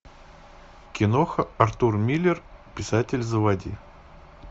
киноха артур миллер писатель заводи